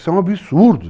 Isso é um absurdo.